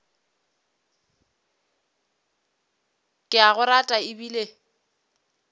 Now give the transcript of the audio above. ke a go rata ebile